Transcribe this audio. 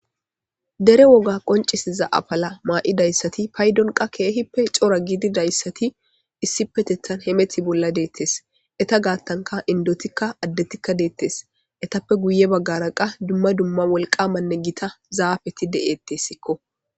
dere woga qoncisiza apala maa7idayssati paydonqa keehippe cora gididayssati issi petethan hemeti bolla deettes eta gaattanka indotikka addetikka deettes etappe guye baggara qa dumma dumma wolqamanne gita zaafeti de7ettessikko